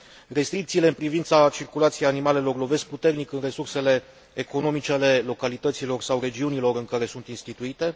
Restricțiile în privința circulației animalelor lovesc puternic în resursele economice ale localităților sau regiunilor în care sunt instituite.